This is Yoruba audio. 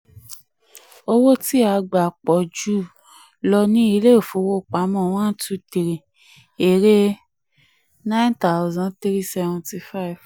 owó tí a gbà pọ̀ jù lọ ni ilé ìfowópamọ one two three èrè: nine thousand three seventy five.